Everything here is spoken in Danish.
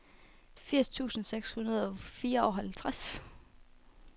firs tusind seks hundrede og fireoghalvtreds